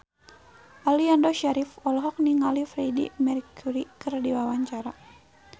Aliando Syarif olohok ningali Freedie Mercury keur diwawancara